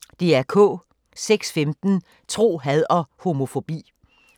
06:15: Tro, had og homofobi